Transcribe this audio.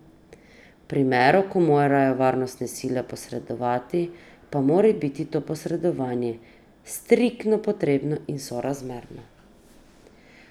V primeru, ko morajo varnostne sile posredovati, pa mora biti to posredovanje striktno potrebno in sorazmerno.